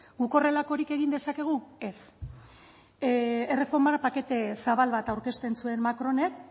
guk horrelakorik egin dezakegu ez erreformara pakete zabal bat aurkezten zuen macronek